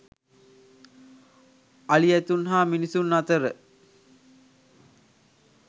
අලි ඇතුන් හා මිනිසුන් අතර